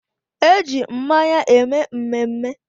Eji mmanya eme mmemme.